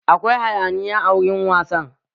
Akwai hayaniya a wurin wasan